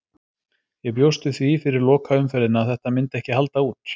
Ég bjóst við því fyrir lokaumferðina að þetta myndi ekki halda út.